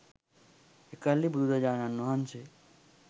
එකල්හි බුදුරජාණන් වහන්සේ